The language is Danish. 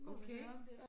Okay